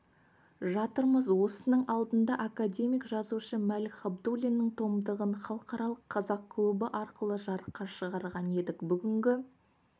жатырмыз осының алдында академик-жазушы мәлік ғабдуллиннің томдығын халықаралық қазақ клубы арқылы жарыққа шығарған едік бүгінгі